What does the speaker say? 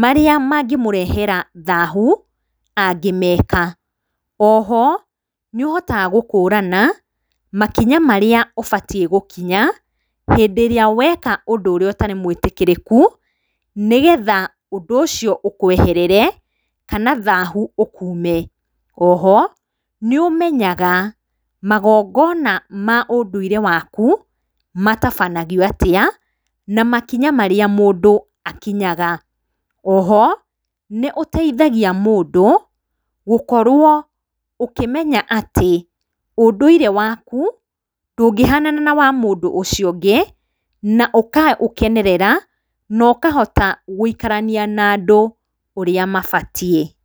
marĩa mangĩmũrehera thahu angĩmeka. Oho, nĩ ũhotaga gũkũrana makinya marĩa ũbatiĩ gũkinya hĩndĩ ĩrĩa weka ũndũ ũrĩa ũtarĩ mũĩtĩkĩrĩku, nĩgetha ũndũ ũcio ũkũeherere kana thahu ũkuume. Oho, nĩ ũmenyaga magongona ma ũndũire waku matabanagio atĩa, na makinya marĩa mũndũ akinyaga. Oho, nĩ ũteithagia mũndũ gũkorwo ũkĩmenya atĩ ũndũire waku ndũngĩhanana na wa mũndũ ũcio ũngĩ, na ũkaũkenerera na ũkahota gũikarania na andũ ũrĩa mabatiĩ.